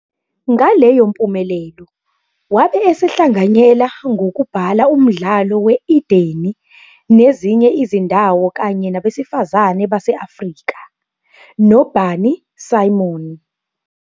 Ngaleyo mpumelelo, wabe esehlanganyela ngokubhala umdlalo we- "Edeni nezinye izindawo kanye nabesifazane base-Afrika" noBarney Simon.